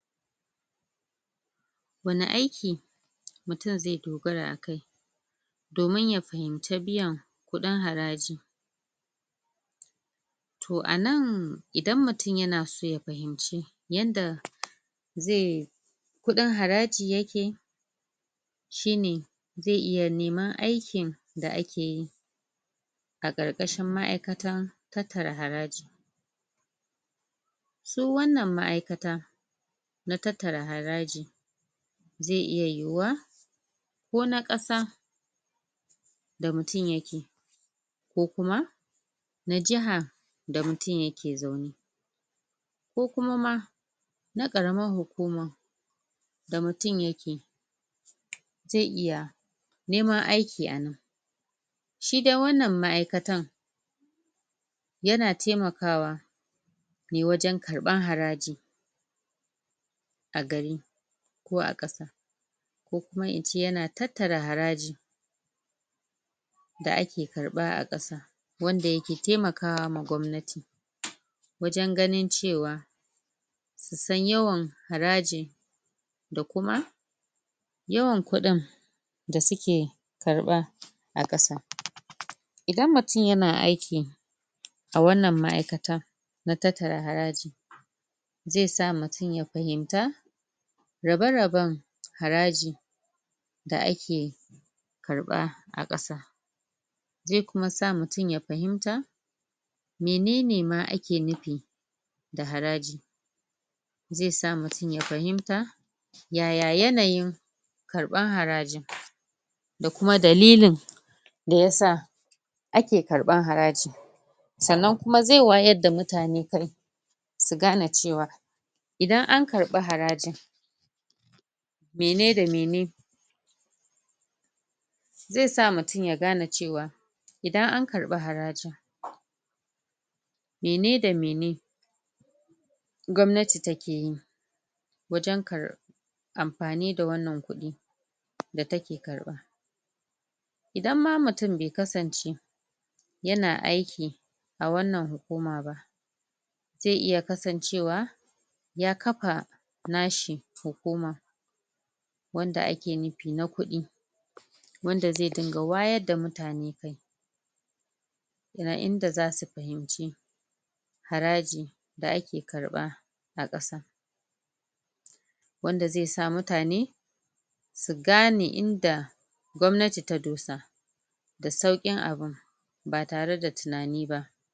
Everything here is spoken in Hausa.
wani aiki mtum ze dogara a kai domin ya fahimce biyan kudin haraji toh a nan idan mutum yana so ya fahimce yanda ze kudin haraji yake shine ze iya neman aikin da ake yi a karkashin ma'aikatan tattara haraji su wannan ma'aikata na tattara haraji ze iya yiyuwa ka na kasa da mutum yake ko kuma na jiha da mutum yake zaune ko kuma ma na karaman hukuma da mutum yake ze iya neman aiki a nan shi dai wannan ma'aikatan yana taimakawa ne wajen karban haraji a gari ko a kasa ko kkuma ince yana tattara haraji da ake karba a kasan wanda yake taimakawa gwamnati wajen ganin cewa su san yawan haraji da kuma yawan kudin da suke karba a kasan idan mutum yana aiki a wannan ma'aikatan na tattara haraji ze sa mutum ya fahimta raba raben haraji da ake karaba a kasan ze kuma sa mutum ya fahimta menene ma ake nufi da haraji ze sa mutum ya fahimta yaya yanayin karban harajin da kuma dalilin da yasa ake karban haraji sannan ze wayar da mutane kan su gane cewa idan an karba harajin mene da mene ze sa mutum ya gane cewa idan an karab harajin mene da mene gwamnati takeyi wajen amfani da wannan kudi da take karba idan ma mutum bai kasance yana aiki a wannan hukuma ze iya kasancewa ya kafa nashi hukuma wanda ake nufi na kudi wanda ze dinga wayar da mutane in da zasu fahimci haraji da ake karba a kasa wanda ze sa mutane su gane inda gwamnati ta dosa da saukin abun ba tare da tunani ba